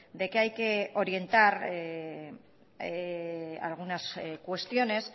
de que hay que orientar algunas cuestiones